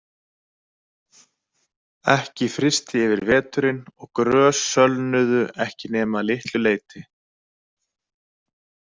Ekki frysti yfir veturinn og grös sölnuðu ekki nema að litlu leyti.